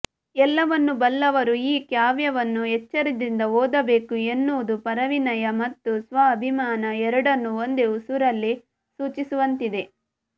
ಎಲ್ಲವನ್ನೂ ಬಲ್ಲವರು ಈ ಕಾವ್ಯವನ್ನು ಎಚ್ಚರದಿಂದ ಓದಬೇಕು ಎನ್ನುವುದು ಪರವಿನಯ ಮತ್ತು ಸ್ವ ಅಭಿಮಾನ ಎರಡನ್ನೂ ಒಂದೇ ಉಸುರಲ್ಲಿ ಸೂಚಿಸುವಂತಿದೆ